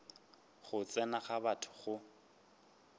go tsena ga batho go